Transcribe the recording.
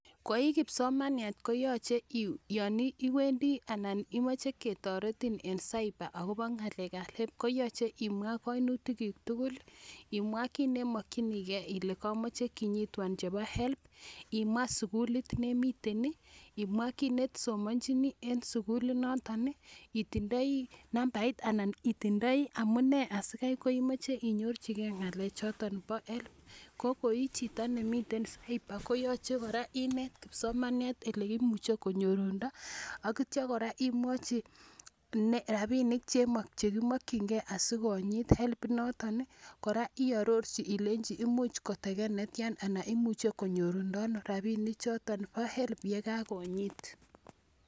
Ko i kipsomaniat ko yache yan iwendi anan imache ketaretin en cyber akopa ng'alek ap HELB koyache imwa kainutiikuk tugul i, imwa kiit ne i makchinigei ile kamache kinyitwan chepo HELB, imwa sukulot ne imiten i, imwa kiit ne i somanchini eng' sukilit noton i, itindai nambait anan itindai amu ne asikai kemache inyorchigei ng'alechoton po HELB ko ko i chiton nemiten cyber koyache kora inet kipsomaniat ole imuch konyorundo tetiakora imwachi rapinik che kimakchingei asi konyiit HELB inton i. Kora iarorchi ile imuch kotekan netian anan imuchi konyorundo ano rapinichotok po HELB ko ka konyiit